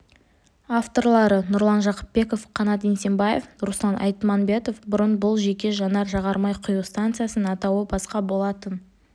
авторлары нұрлан жақыпбеков қанат еңсебаев руслан айтманбетов бұрын бұл жеке жанар-жағармай құю станциясының атауы басқа болатын